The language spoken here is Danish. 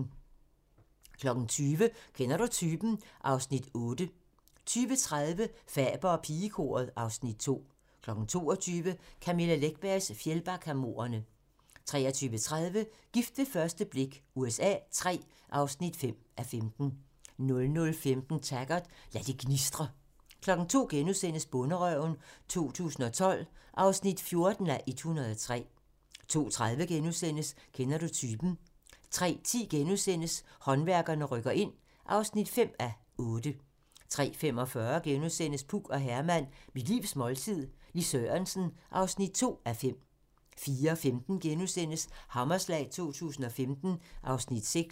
20:00: Kender du typen? (Afs. 8) 20:30: Faber og pigekoret (Afs. 2) 22:00: Camilla Läckbergs Fjällbackamordene 23:30: Gift ved første blik USA III (5:15) 00:15: Taggart: Lad det gnistre 02:00: Bonderøven 2012 (14:103)* 02:30: Kender du typen? * 03:10: Håndværkerne rykker ind (5:8)* 03:45: Puk og Herman - mit livs måltid - Lis Sørensen (2:5)* 04:15: Hammerslag 2015 (Afs. 6)*